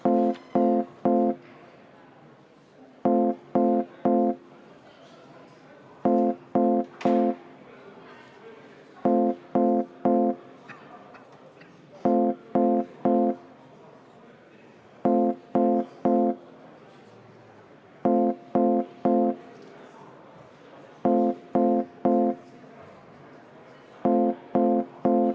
Komisjon tegi ettepaneku saata eelnõu teiseks lugemiseks Riigikogu täiskogu päevakorda 6. novembriks ja komisjoni ettepanek oli teine lugemine lõpetada.